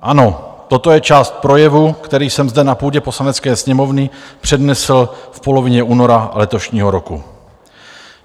Ano, toto je část projevu, který jsem zde na půdě Poslanecké sněmovny přednesl v polovině února letošního roku.